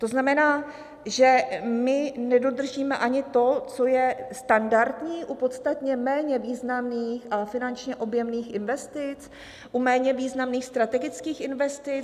To znamená, že my nedodržíme ani to, co je standardní u podstatně méně významných a finančně objemných investic, u méně významných strategických investic?